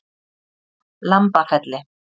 Lambafelli